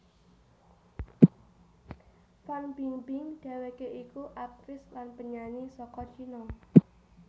Fan Bingbing dhèwèké iku aktris lan penyanyi saka China